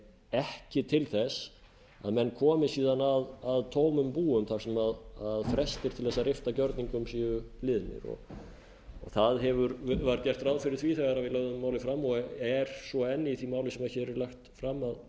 ekki til að menn komi síðan að tómum búum þar sem frestir til að rifta gjörningum séu liðnir það var gert ráð fyrir því þegar við lögðum málið fram og er svo enn í því máli sem hér er lagt fram að